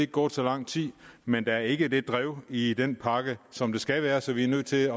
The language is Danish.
gået så lang tid men der er ikke det drev i den pakke som der skal være så vi er nødt til